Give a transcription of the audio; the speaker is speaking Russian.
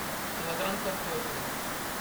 килограмм картофеля